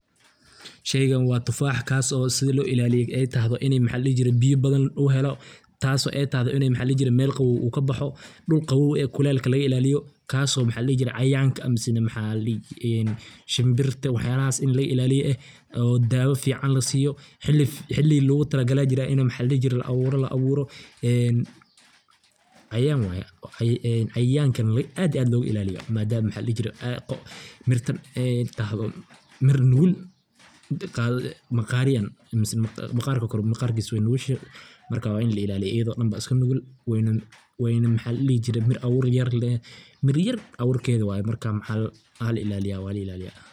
Sheygan waa tufaha kaaso sidi loo ilaaliyo ay tahan ini maxa ladhihi jiray biya badan uu helo taaso ay tahdo maxa ladhihi jire Mel qabow ukabaxo, dhul qabow ee kulalka laga ilaaliyo kaaso maxa ladhihi jire cayayanka ama maxa ladhihi jire mise shimbirta wax yalahas ini laga ilaaliyo eh oo daawa fican lasiyo xili logutala gale aya jira ini maxa ladhihi jire la abuuro en cayayan way cayayanka aad iyo aad loga ilaaliyo madama maxa ladhihi jire ay mirtan tahdo mir nugul maqariyan mise maqarkisa Kore maqarkisa way nugushe marka waa ini la ilaaliyo iyido dhan ba iska nugul wayna maxa ladhihi jire mur abuur yar leh, mir yar abuurkeeda waye, marka waa la ilaaliya waa la ilaaliya